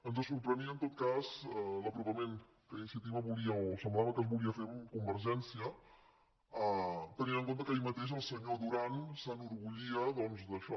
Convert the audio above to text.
ens sorprenia en tot cas l’apropament que iniciativa volia o semblava que es volia fer amb convergèn·cia tenint en compte que ahir mateix el senyor duran s’enorgullia doncs d’això